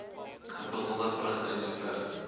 gebottelde vrugte ens